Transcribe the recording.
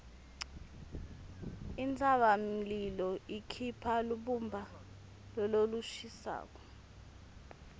intsabamlilo ikhipha lubumba lolushisako